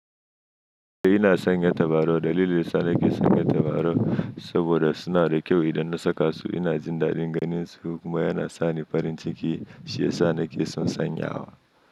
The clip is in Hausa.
Eh ina sanya tabarau. Dalilin da ya sa nake sanya tabarau saboda suna da kyau idan na saka su. Ina jin daɗin ganinsu kuma yana sa ni farin ciki shi yasa nake son sanyawa.